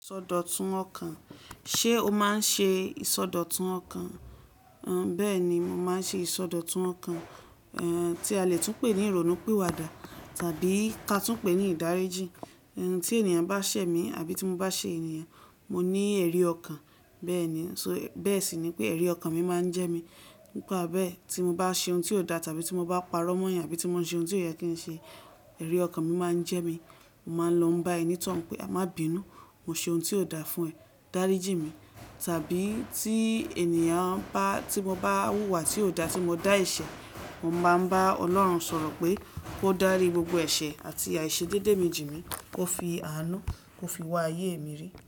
Isọdọtun ọkàn. Ṣé o máa ń ṣe ìsọdọtun ọkàn? Béèni, mo máa ń ṣe ìsọdọtun ọkàn, tí a le tún pè ní ìrònú píwadà tàbí ká tún pè ní ìdáríjì. Tí ènìyàn bá sẹ̀ mí àbí tí mo bá sẹ̀ ènìyàn, mo ní ẹrí ọkàn. Béèni, so bẹ́ẹ̀ sì ni pé ẹrí ọkàn mi máa ń jẹ mí. Nípa bẹ́ẹ̀ tí mo bá ṣe oun tí ò dá tàbí tí mo bá parọ́ mọ́yàn àbí tí mo ń ṣe oun tí ó yẹ kí n ṣe, ẹrí ọkàn mi máa ń jẹ mí. Mo máa ń lọ bá ẹni tó ń pe, máa bínu, mo ṣe oun tí ò dáa fún ẹ, dáríjì mi. Tàbí tí ènìyàn bá tí mo bá wúwà tí ò dá tí mo dá ẹ̀ṣẹ̀, mo máa ń bá Ọlọ́run sọ̀rọ̀ pé kó dárí gbogbo ẹ̀ṣẹ̀ àti àìṣè déédéé mi jìnì, kó fi àánú kó fi wà ayé mi rí.